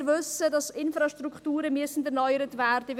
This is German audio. Wir wissen, dass Infrastrukturen erneuert werden müssen.